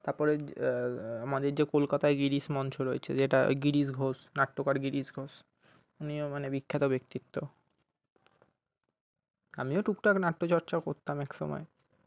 তারপরে যে আহ আমাদের যে কলকাতা গিরীশ মঞ্চ রয়েছে